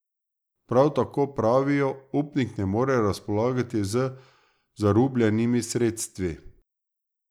Prav tako, pravijo, upnik ne more razpolagati z zarubljenimi sredstvi.